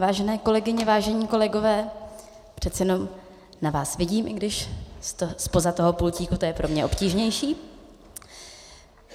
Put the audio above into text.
Vážené kolegyně, vážení kolegové, přece jenom na vás vidím, i když zpoza toho pultíku to je pro mě obtížnější.